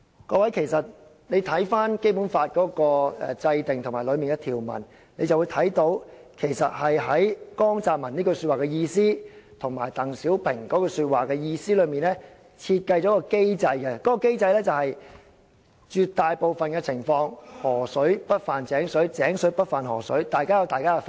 "各位，從《基本法》的制定及當中的條文，便會看到其實在江澤民和鄧小平的說話的意思中，設計了一個機制，就是在絕大部分的情況下，"河水不犯井水，井水不犯河水"，大家有各自的法制。